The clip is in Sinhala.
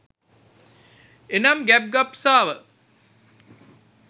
එනම් ගෑබ් ගබ්සාව